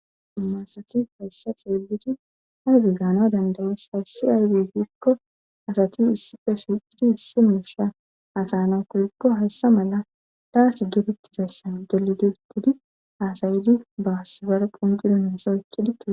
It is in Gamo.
Dimasatif hayssa xeelidi arge gaano dandayes hayssi arge giikko asati issife shiqidi issi miisha asayna kohikqo hayssa mala daas gefettizassan deliti uttidi aasayidi baasibare qunqidon nasa ekkidie.